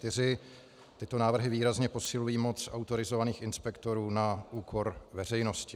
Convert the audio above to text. Tyto návrhy výrazně posilují moc autorizovaných inspektorů na úkor veřejnosti.